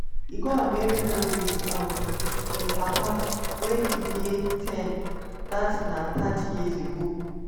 e go america wit um im papa wen e dey ten dat na thirty years ago.